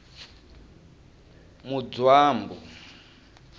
mudzwambu